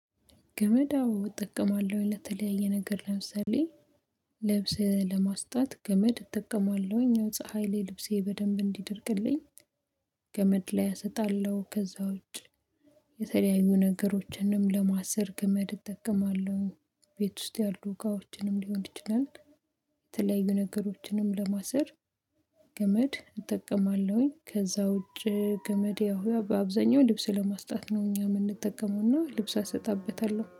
ገመድ አዎ እጠቀማለሁ ለተለያየ ነገር ለምሳሌ ልብስ ለማስጣት ገመድ እጠቀማለሁኝ የፀሀይ ላይ ልብሴ በደንብ እንዲደርቅልኝ። ገመድ ላይ አሰጣለሁ ከዛ ውጭ። ነገሮችንም ለማሰር ገመድ እጠቀማለሁ። ቤት ውስጥ ያሉ እቃዎችንም ሊሆን ይችላል። የተለያዩ ነገሮችንም ለማሰር። ገመድ እጠቀማለሁኝ ከዛ ውጭ ገመድ ያው በአብዛኛው ልብስ ለማስጣት ነው እኛ የምንጠቀመውና ልብስ አሰጣበታለሁ